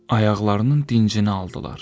Ayaqlarının dincini aldılar.